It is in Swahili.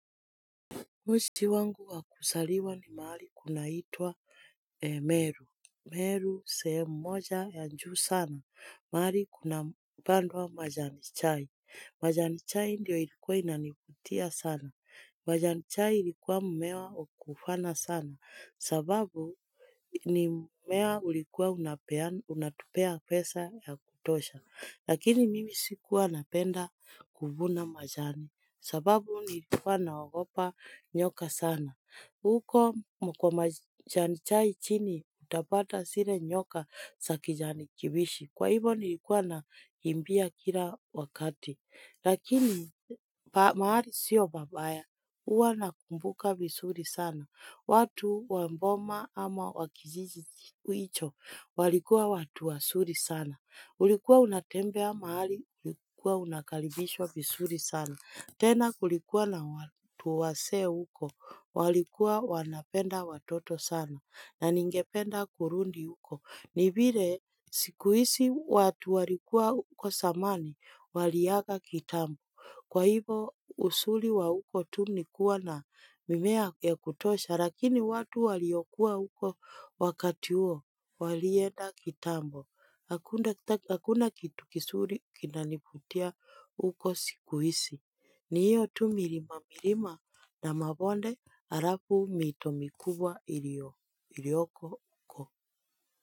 Mji wangu wakuzaliwa ni mahali kunaitwa Meru. Meru sehemubmoja ya juu sana. Mahali kunapandwa majani chai. Majani chai ndio ilikuwa inanivutia sana. Majani chai ilikuwa mumea wakufana sana. Sababu ni mumea ulikuwa unatupea pesa ya kutosha. Lakini mimi sikuwa napenda kuvuna majani. Sababu nilikuwa naogopa nyoka sana. Huko kwa majani chai chini utapata zile nyoka za kijani kibichi. Kwa hivo nilikuwa nakimbia kila wakati. Lakini mahali sio pabaya. Huwa nakumbuka vizuri sana. Watu wa boma ama wakijiji hicho walikuwa watu wazuri sana. Ulikuwa unatembea mahali ulikuwa unakaribishwa vizuri sana. Tena kulikuwa na watu wazee huko, walikuwa wanapenda watoto sana na ningependa kurudi huko. Ni vile siku hizi watu walikuwa huko zamani, waliaga kitambo. Kwa hivo uzuri wa huko tu nikuwa na mimea ya kutosha, lakini watu waliokuwa huko wakati huo, walienda kitambo. Hakuna kitu kizuri kinanivutia huko siku hizi. Ni hiyo tu milima milima na mabonde halafu mito mikubwa iliyoko huko.